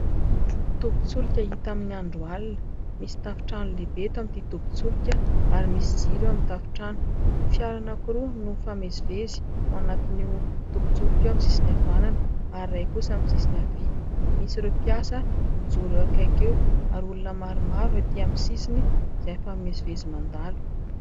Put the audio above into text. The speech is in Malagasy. Tobin- tsolika hita amin'ny andro alina, misy tafotrano lehibe eto amin'ity tobin- tsolika ary misy jiro eo amin'ny tafotrano. Fiara anankiroa no mifamezivezy ao anatin'io tobin- tsolika io amin'ny sisiny havanana, ary iray kosa amin'ny sisiny havia ; misy ireo mpiasa mijoro eo akaiky eo ary olona maromaro etỳ amin'ny sisiny izay mifamezivezy mandalo.